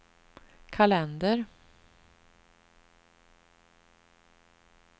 kalender